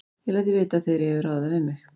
Ég læt þig vita, þegar ég hef ráðið það við mig